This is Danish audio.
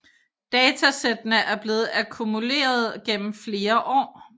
Datasættene er blevet akkumuleret gennem flere år